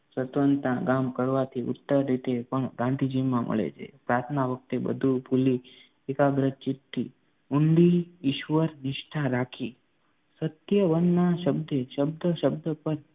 સતવંતા કામ કરવાથી ઉત્તર પણ ગાંધીજીમાં મળે છે પ્રાર્થના વખતે બધું ભૂલી એકાગ્ર ચિત્તથી ઊંડી ઈશ્વર નિષ્ઠા રાખી સત્યવનના શબ્દે શબ્દ શબ્દ પર